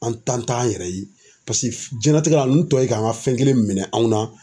An tan t'an yɛrɛ ye paseke diɲɛlatigɛ la ninnu tɔ ye k'an ka fɛn kelen minɛ anw na.